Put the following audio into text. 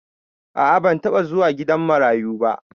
A'a ban taba zuwa gidan marayu ba.